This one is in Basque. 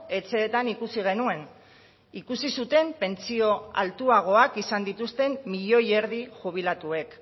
etxeetan ikusi genuen ikusi zuten pentsio altuagoak izan dituzten milioi erdi jubilatuek